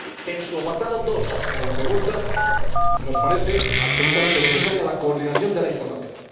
En su apartado 2, en la pregunta, nos parece absolutamente necesaria la coordinación de la información.